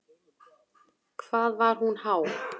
Hvað var hún há?